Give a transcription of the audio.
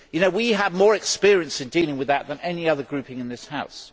We have more experience in dealing with this than any other grouping in this House.